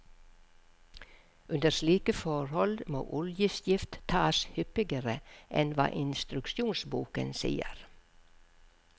Under slike forhold må oljeskift tas hyppigere enn hva instruksjonsboken sier.